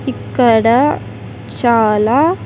ఇక్కడ చాలా--